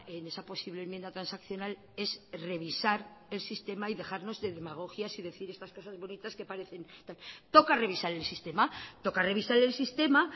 en esa posible enmienda transaccional es revisar el sistema y dejarnos de demagogias y decir estas cosas bonitas que parecen toca revisar el sistema toca revisar el sistema